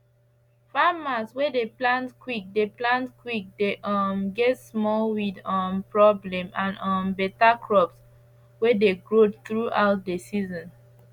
farmers way dey plant quick dey plant quick dey um get small weed um problem and um beta crops way dey grow throughout the season